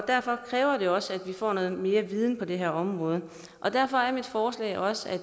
derfor kræver det også at vi får noget mere viden på det her område derfor er mit forslag også at